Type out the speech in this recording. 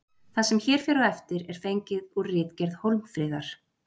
Það sem hér fer á eftir er fengið úr ritgerð Hólmfríðar.